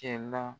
Kɛ na